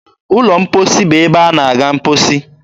ụlọ mkposi bụ ebe a na -aga mkposi.